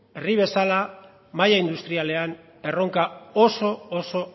herri bezala mahai industrialean erronka oso